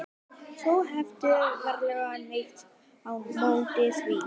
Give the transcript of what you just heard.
Þú hefur varla neitt á móti því?